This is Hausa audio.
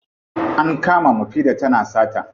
An kama mufida tana sata.